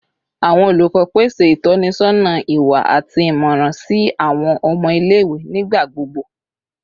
Awọn olukọ pese itọnisọna iwa ati imọran si awọn ọmọ ile-iwe nigbagbogbo